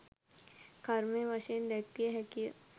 කර්මය වශයෙන් දැක්විය හැකි යි.